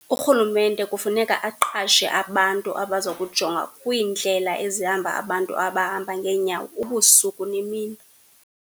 Urhulumente kufuneka aqashe abantu abazokujonga kwiindlela ezihamba abantu abahamba ngeenyawo ubusuku nemini.